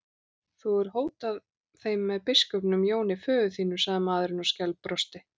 Þú hefur hótað þeim með biskupnum Jóni, föður þínum, sagði maðurinn og skælbrosti.